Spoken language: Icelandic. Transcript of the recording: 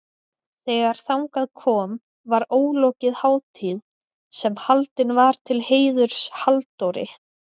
Þegar þangað kom var ólokið hátíð sem haldin var til heiðurs Halldóri